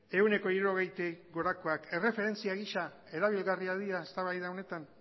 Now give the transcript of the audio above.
ehuneko hirurogeitik gorakoak erreferentzia gisa erabilgarriak dira eztabaida honetan